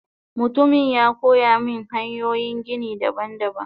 Mutumin yakoyamin hanyoyin gini daban daban.